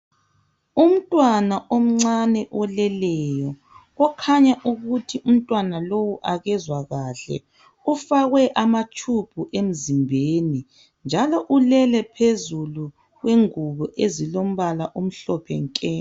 Umntwana omncane oleleyo okhanya ukuthi umntwana lowu akezwa kahle. Ufakwe amatshubhu emzimbeni njalo ulele phezulu kwengubo ezilombala omhlophe nke.